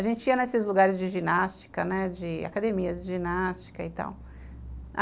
A gente ia nesses lugares de ginástica, né, de academias de ginástica e tal.